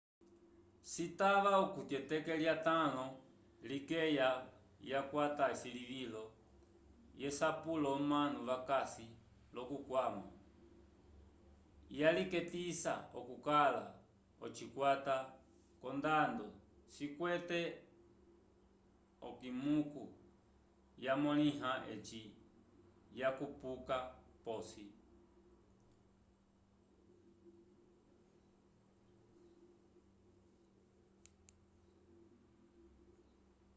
citava okuti eteke lyatãlo likeya yakwata esilivilo v'esapulo omanu vakasi lókukwama yalilekisa okukala ocikwata c'ondando cikwete okimiku yamõliwa eci yakupuka p'osi